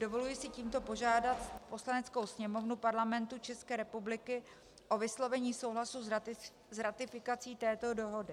Dovoluji si tímto požádat Poslaneckou sněmovnu Parlamentu České republiky o vyslovení souhlasu s ratifikací této dohody.